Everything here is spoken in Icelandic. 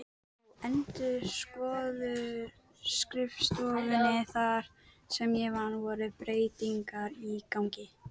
Á endurskoðunarskrifstofunni þar sem ég vann voru breytingar í gangi.